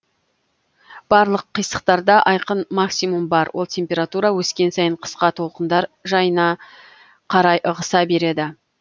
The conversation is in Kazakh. барлық қисықтарда айқын максимум бар ол температура өскен сайын қысқа толқындар жайына қарай ығыса береді